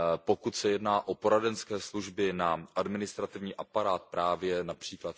Pokud se jedná o poradenské služby nám, administrativní aparát právě např.